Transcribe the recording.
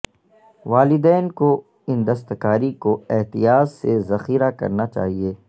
والدین کو ان دستکاری کو احتیاط سے ذخیرہ کرنا چاہئے